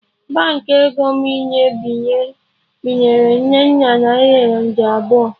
Baankị ego m inye binyere Nnenna naira nde abụọ